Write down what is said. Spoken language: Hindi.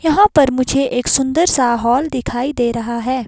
यहां पर मुझे एक सुंदर सा हॉल दिखाई दे रहा है।